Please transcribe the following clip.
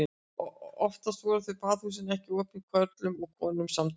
Oftast voru þó baðhúsin ekki opin körlum og konum samtímis.